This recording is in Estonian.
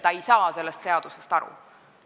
Ta ei saa sellest seadusest aru.